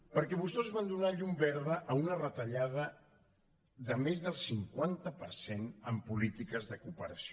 perquè vostès van donar llum verda a una retallada de més del cinquanta per cent en polítiques de cooperació